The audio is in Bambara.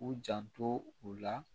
U janto u la